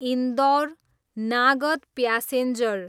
Indore, Nagda passenger